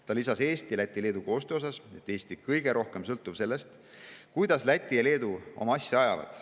Ta lisas Eesti, Läti ja Leedu koostöö kohta, et Eesti on kõige rohkem sõltuv sellest, kuidas Läti ja Leedu oma asja ajavad.